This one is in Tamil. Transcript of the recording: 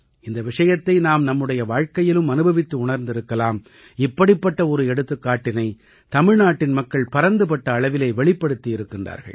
இந்த விஷயத்தை நாம் நம்முடைய வாழ்க்கையிலும் அனுபவித்து உணர்ந்திருக்கலாம் இப்படிப்பட்ட ஒரு எடுத்துக்காட்டினை தமிழ்நாட்டின் மக்கள் பரந்துபட்ட அளவிலே வெளிப்படுத்தி இருக்கின்றார்கள்